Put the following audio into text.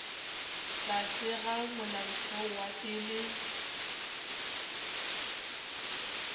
tlase ga molaotheo wa pele